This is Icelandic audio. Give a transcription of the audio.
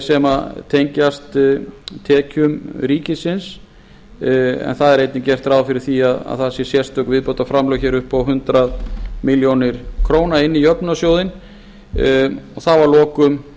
sem tengjast tekjum ríkisins einnig er gert ráð fyrir því að það séu sérstök viðbótarframlög upp á hundrað milljónir króna inn í jöfnunarsjóðinn þá að lokum